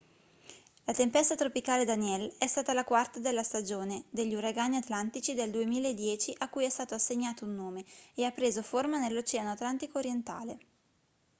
la tempesta tropicale danielle è stata la quarta della stagione degli uragani atlantici del 2010 a cui è stato assegnato un nome e ha preso forma nell'oceano atlantico orientale